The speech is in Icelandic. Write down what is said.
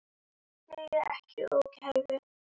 Börn skilja ekki ógæfu.